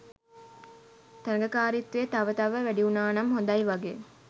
තරඟකාරීත්වය තව තව වැඩිවුනානම් හොඳයි වගේ